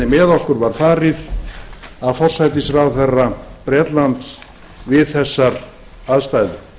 með okkur var farið af forsætisráðherra bretlands við þessar aðstæður